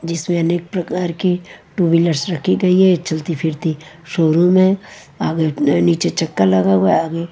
जिसमें अनेक प्रकार के टू व्हीलर्स रखी गई है चलती फिरती शोरूम है आगे नीचे चक्का लगा हुआ है आगे--